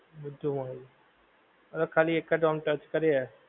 બધુ મળે છે. અરે ખાલી એકજ આમ touch કરીએ,